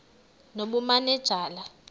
nobumanejala